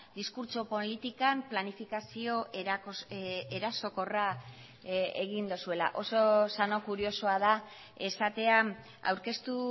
diskurtso politikan planifikazio erasokorra egin duzuela oso sano kuriosoa da esatea aurkeztu